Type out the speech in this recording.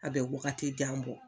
A bɛ wagati jan bɔ